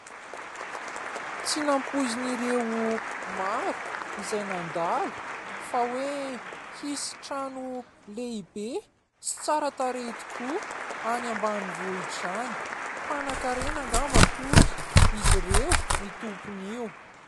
Tsy nampoizin'ireo maro izay nandalo fa hoe hisy trano lehibe sy tsara tarehy tokoa any ambanivohitra any, mpanankarena ngamba hoy izy ireo ny tompon'io.